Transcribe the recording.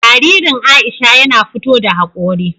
Jaririn Aisha yana fito da haƙori.